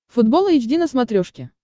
футбол эйч ди на смотрешке